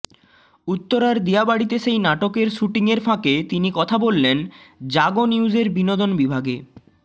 উত্তরার দিয়াবাড়িতে সেই নাটকের শুটিংয়ের ফাঁকে তিনি কথা বললেন জাগো নিউজের বিনোদন বিভাগে